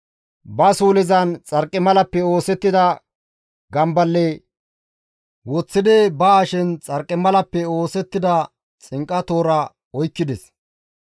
Ba suulezan xarqimalappe oosettida gamballe woththidi ba hashen xarqimalappe oosettida xinqa toora oykkides.